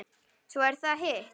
Svo er það hitt.